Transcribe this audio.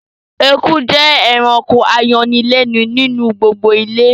Eku jẹ́ ẹranko ayọnilẹ́nu ni inu gbogbo ilé